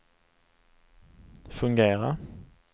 fungera